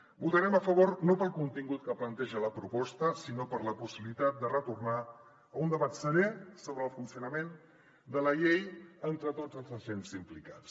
hi votarem a favor no pel contingut que planteja la proposta sinó per la possibilitat de retornar a un debat serè sobre el funcionament de la llei entre tots els agents implicats